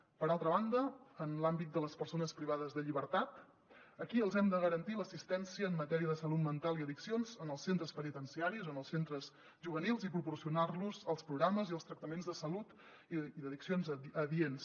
per altra banda en l’àmbit de les persones privades de llibertat aquí els hem de garantir l’assistència en matèria de salut mental i addiccions en els centres penitenciaris o en els centres juvenils i proporcionar los els programes i els tractaments de salut i d’addiccions adients